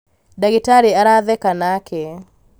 ndagĩtarĩ aratheka nake